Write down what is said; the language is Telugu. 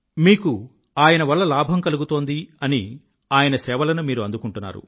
మీకు ఆయన వల్ల లాభం కలుగుతోంది అని ఆయన సేవలను మీరు అందుకుంటున్నారు